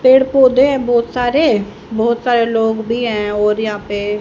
पेड़ पौधे हैं बहोत सारे बहोत सारे लोग भी हैं और यहां पे--